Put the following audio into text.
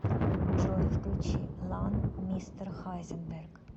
джой включи лан мистер хайзенберг